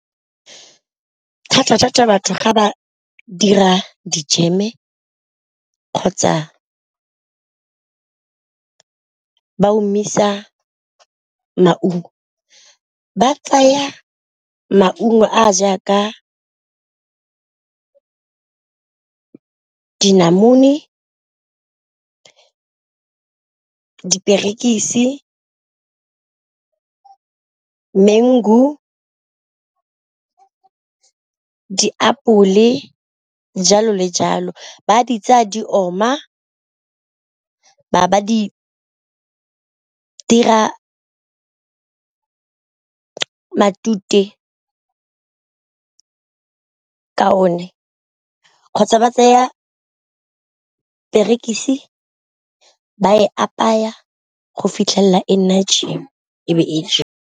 Thata-thata batho ga ba dira dijeme kgotsa ba omisa maungo ba tsaya maungo a ja ka dinamune, diperekisi, mengu, diapole, jalo le jalo. Ba di tsa di oma ba ba di dira matute ka o ne kgotsa ba tseya perekisi ba e apaya go fitlhelela e nna jam e be e jewa.